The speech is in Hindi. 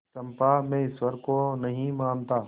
चंपा मैं ईश्वर को नहीं मानता